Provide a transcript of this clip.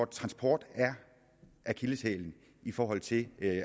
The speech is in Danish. transport er akilleshælen i forhold til